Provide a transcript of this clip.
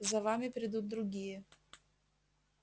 за вами придут другие